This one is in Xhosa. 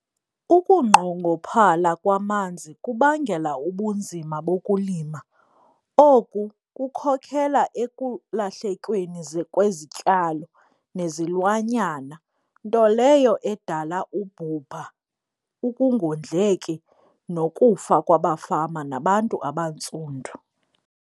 Ukunqongophala kwamanzi kubangela ubunzima bokulima, oku kukhokhela ekulahlekweni kwezityalo nezilwanyana nto leyo edala ubhubha, ukungondleki nokufa kwabafama nabantu abantsundu.